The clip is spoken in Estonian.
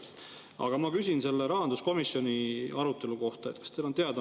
Aga ma küsin selle rahanduskomisjoni arutelu kohta.